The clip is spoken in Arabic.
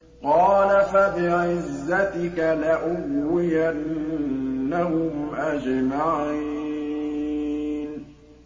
قَالَ فَبِعِزَّتِكَ لَأُغْوِيَنَّهُمْ أَجْمَعِينَ